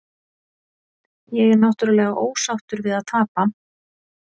Ég er náttúrulega ósáttur við að tapa.